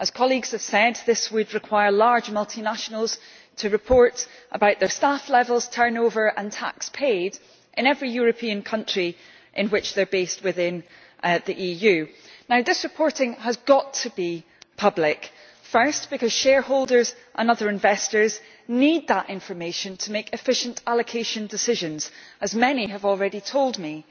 As colleagues have said, this would require large multinationals to report about their staff levels, turnover and tax paid in every EU country in which they are based. This reporting has got to be public firstly, because shareholders and other investors need that information to make efficient allocation decisions, as many have already told me